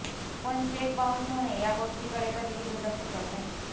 पण cheque bounce होणे या गोष्टीकडे कधीही दुर्लक्ष करू नये